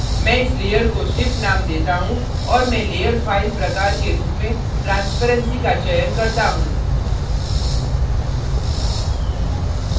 मैं इस layer को ship name देता choose और मैं layer fill प्रकार के रूप में transparency का चयन करता choose